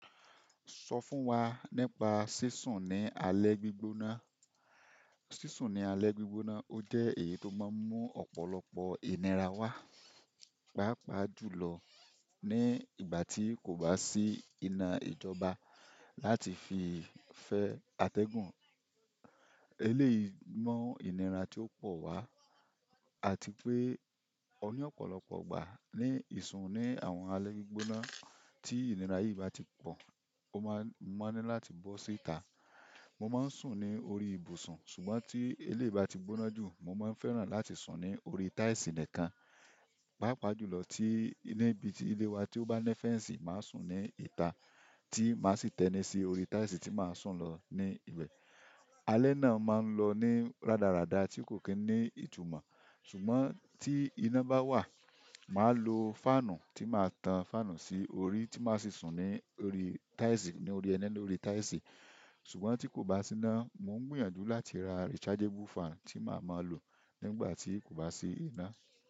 Sọ fún wa nípa sísún ní alẹ́ gbígbóná. Sísún ní alẹ́ gbígbóná ó jẹ́ èyí tó máa ń mú ọ̀pọ̀lọpọ̀ ìnira wá, pàápàá jùlọ ní ìgbà tí kò bá sí iná ìjọba láti fi fẹ́ atẹ́gùn. Eléyìí mọ ìnira tí ó pọ̀ wá àti pé ọ̀pọ̀lọpọ̀ ìgbà ní ìsun ni àwọn alẹ́ gbígbóná tí ìnira yìí bá ti pọ̀, ó máa ń má ní láti bọ́ síta. Mo máa ń sùn ní orí ibùsùn, ṣùgbọ́n tí eléyìí bá ti gbóná jù, mo máa ń fẹ́ràn láti sùn ní orí táìsì nìkan, pàápàá jùlọ tí níbi ilé wa tí ó bá nẹ́fẹ̀ẹ́ǹsì, màá sùn ní ìta tí màá sì tẹ́ni sí orí táìsì tí màá sùn lọ ní ibẹ̀. Alẹ́ náà máa ń lọ ní rádaràda tí kò kí n ní ìtumọ̀. Ṣùgbọ́n tí iná bá wà, màá lo fáànù tí màá tan fáànù sí orí tí màá sì sùn ní orí táìsì, ní orí ẹni ni orí táìsì. Ṣùgbọ́n tí kò bá sí iná, mò ń gbìyànjú láti ra rechargeable fan tí màá máa lò nígbà tí kò bá sí iná.